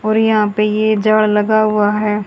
और यहां पे ये जार लगा हुआ है।